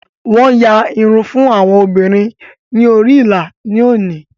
Wọn yàn irun fún àwọn obìnrin ni orí ìlà ni oni